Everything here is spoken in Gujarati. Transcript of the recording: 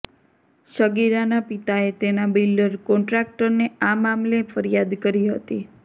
સગીરાના પિતાએ તેના બિલ્ડર કોન્ટ્રાક્ટરને આ મામલે ફરિયાદ કરી હતી